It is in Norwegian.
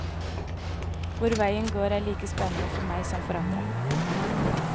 Hvor veien går er like spennende for meg som for andre.